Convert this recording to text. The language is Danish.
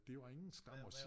Det var ingen skam at sige